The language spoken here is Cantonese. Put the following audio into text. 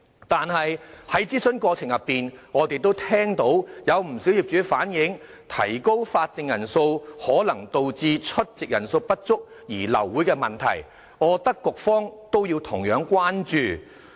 可是，在諮詢過程中，我們聽到不少業主反映，指出提高法定人數可能導致出席人數不足而流會的問題，我認為局方同樣要關注這點。